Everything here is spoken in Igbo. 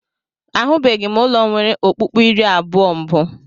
Ahụbeghị m ụlọ nwere ọkpụ́kpụ́ iri abụọ mbụ.